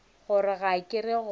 gore ga ke go rate